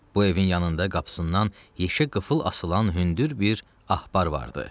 Bu evin yanında qapısından yeşə qıfıl asılan hündür bir axbar vardı.